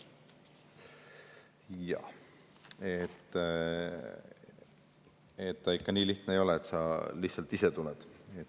Jah, ega ikka nii lihtne ei ole, et sa lihtsalt ise tuled.